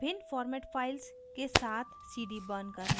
भिन्न format files के साथ cd burning करना